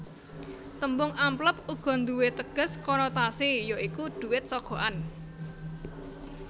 Tembung amplop uga nduwé teges konotasi ya iku dhuwit sogokan